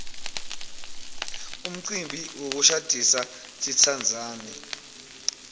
umcimbi wokushadisa titsandzani